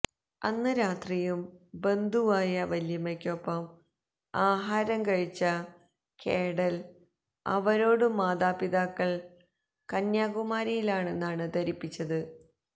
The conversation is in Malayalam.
അന്ന് രാത്രിയും ബന്ധുവായ വല്യമ്മയ്ക്കൊപ്പം ആഹാരം കഴിച്ച കേഡല് അവരോടും മാതാപിതാക്കള് കന്യാകുമാരിയിലാണെന്നാണ് ധരിപ്പിച്ചത്